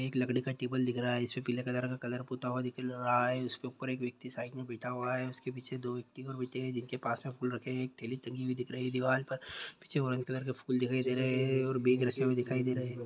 एक लकड़ी का टेबल रखा दिख रहा है जिस पे पीले कलर का कलर पोता हुआ दिख रहा है। उस के ऊपर एक व्यक्ति साइड में बैठे हुआ है। उस के पीछे दो व्यक्ति और बैठे हैं जिसके पास में फूल रखे हुए हैं। एक थैली टंगी हुई दिख रही है दीवार पर। पीछे ऑरेंज कलर के फूल दिखाई दे रहे हैं। और बेग रखे हुए दिख रहे हैं।